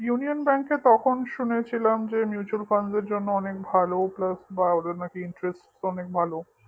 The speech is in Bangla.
union bank এ তখন শুনেছিলাম যে mutual fund র জন্য অনেক ভালো plus বা ওদের interest নাকি অনেক ভালো